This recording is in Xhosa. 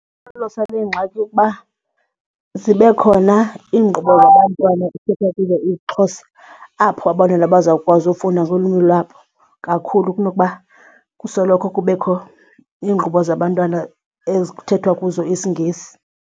le ngxaki kukuba zibe khona iinkqubo zabantwana ekuthethwa kuzo isiXhosa apho abantwana bazawukwazi ufunda ngolwimi lwabo kakhulu kunokuba kusoloko kubekho iinkqubo zabantwana ezi kuthethwa kuzo isiNgesi.